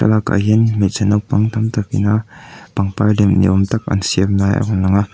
thlalakah hian hmeichhe naupang tam tak ina pangpar lem niawm tak an siam lai a rawn lang a.